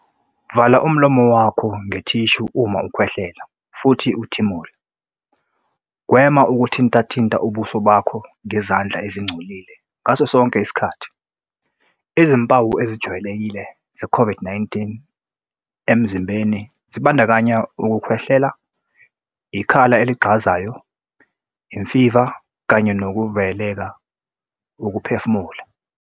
Vala umlomo wakho ngethishu uma ukhwehlela futhi uthimula. Gwema ukuzithintathinta ubuso ngezandla ezingcolile ngaso sonke isikhathi. Izimpawu ezijwayelekile zeCOVID -19 emzimbeni zibandakanya ukukhwehlela, ikhala eligxazayo, imfiva kanye nokuvaleka ukuphefumula.